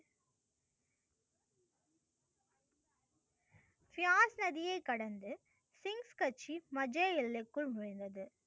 சியாஸ் நதியை கடந்து சின்ஸ் கட்சி மஜய் எல்லைக்குள் நுழைந்தது.